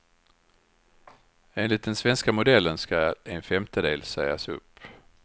Enligt den svenska modellen skall en femtedel sägas upp.